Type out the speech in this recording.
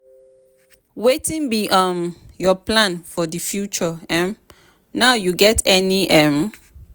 wetin be um your plan for di future um now you get any? um